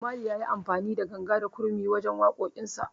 Bob Mali yayi amfani da ganga da kuma gurmi wajen waƙoƙin sa